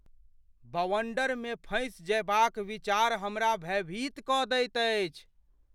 बवण्डरमे फँसि जयबाक विचार हमरा भयभीत कऽ दैत अछि।